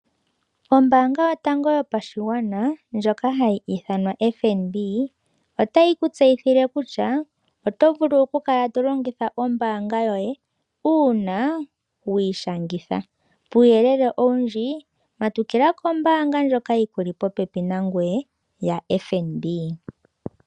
Ombaanga yotango yopashigwana ndjoka hayi ithanwa FNB otayi ku tseyithile kutya oto vulu okukala to longitha ombaanga yoye uuna wi ishangitha. Kuuyelele owundji, matukila kombaanga ndjoka yi ku li popepi yaFNB.